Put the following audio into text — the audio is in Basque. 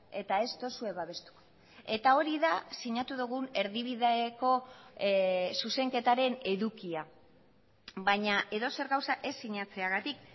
eta ez duzue babestu eta hori da sinatu dugun erdibideko zuzenketaren edukia baina edozer gauza ez sinatzeagatik